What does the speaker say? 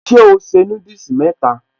Ṣé o se núdùsì mẹ́tẹ̀ẹ̀ta?